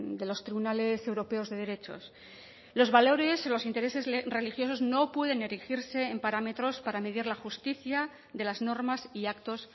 de los tribunales europeos de derechos los valores los intereses religiosos no pueden erigirse en parámetros para medir la justicia de las normas y actos